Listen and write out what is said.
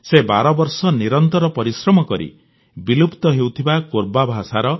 ସେ 12 ବର୍ଷ ନିରନ୍ତର ପରିଶ୍ରମ କରି ବିଲୁପ୍ତ ହେଉଥିବା କୋରବା ଭାଷ